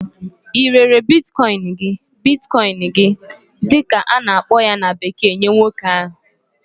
i rere "Bitcoin" gi Bitcoin"gị dị ka a na-akpọ ya na bekee nye nwoke ahụ?